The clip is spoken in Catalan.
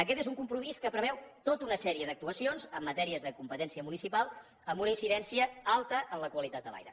aquest és un compromís que preveu tota una sèrie d’actuacions en matèries de competència municipal amb una incidència alta en la qualitat de l’aire